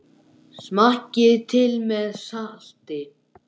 Smakkið til með salti.